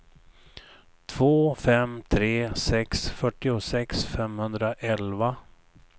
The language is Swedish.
två fem tre sex fyrtiosex femhundraelva